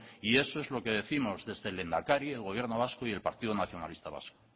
y eso es lo que décimos desde el lehendakari el gobierno vasco y el partido nacionalista vasco